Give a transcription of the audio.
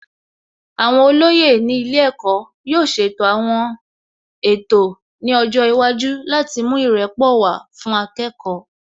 Àwọn olóyè ní ilé ẹ̀kọ́ yóò ṣètò àwọn ètò ní ọjọ́ iwájú láti mú ìrẹ́pọ̀ wá fún akẹ́kọ̀ọ́